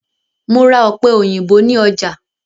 Mo ra ọ̀pẹ-òyìnbó ní ọjà.